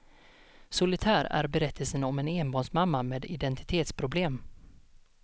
Solitär är berättelsen om en enbarnsmamma med identitetsproblem.